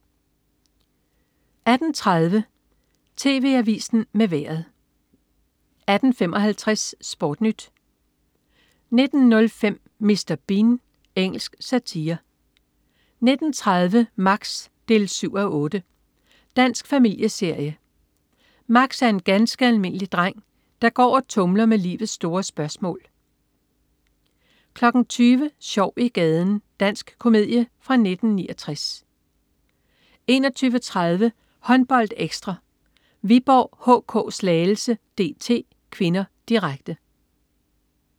18.30 TV Avisen med Vejret 18.55 SportNyt 19.05 Mr. Bean. Engelsk satire 19.30 Max 7:8. Dansk familieserie. Max er en ganske almindelig dreng, der går og tumler med livets store spørgsmål 20.00 Sjov i gaden. Dansk komedie fra 1969 21.30 HåndboldEkstra: Viborg HK-Slagelse DT (k), direkte